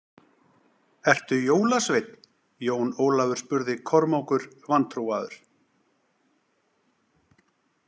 Ertu jólasveinn, Jón Ólafur spurði Kormákur vantrúaður.